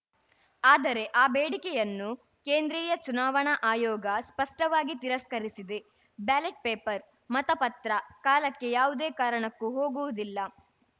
ಆದರೆ ಆ ಬೇಡಿಕೆಯನ್ನು ಕೇಂದ್ರೀಯ ಚುನಾವಣಾ ಆಯೋಗ ಸ್ಪಷ್ಟವಾಗಿ ತಿರಸ್ಕರಿಸಿದೆ ಬ್ಯಾಲಟ್‌ ಪೇಪರ್‌ ಮತಪತ್ರ ಕಾಲಕ್ಕೆ ಯಾವುದೇ ಕಾರಣಕ್ಕೂ ಹೋಗುವುದಿಲ್ಲ